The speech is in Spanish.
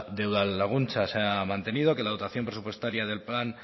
de udalaguntza se ha mantenido que la dotación presupuestaria del plan